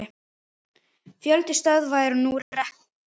Fjöldi stöðva er nú rekinn.